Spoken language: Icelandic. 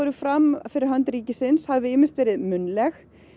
fram fyrir hönd ríkisins hafi þau ýmist verið munnleg